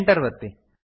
Enter ಒತ್ತಿ